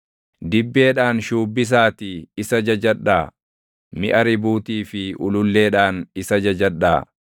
dibbeedhaan shuubbisaatii isa jajadhaa; miʼa ribuutii fi ululleedhaan isa jajadhaa.